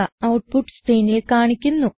output സ്ക്രീനിൽ കാണിക്കുന്നു